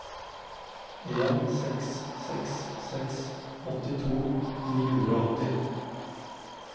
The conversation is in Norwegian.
en seks seks seks åttito ni hundre og åtti